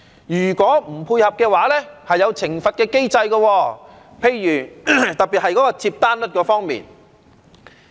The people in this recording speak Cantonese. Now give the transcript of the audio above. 如果不配合，會有懲罰的機制，特別是接單率方面。